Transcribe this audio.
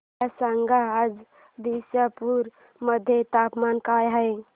मला सांगा आज दिसपूर मध्ये तापमान काय आहे